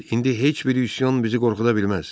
İndi heç bir üsyan bizi qorxuda bilməz.